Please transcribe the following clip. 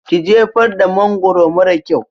Ki jefar da mangwaro mara kyau!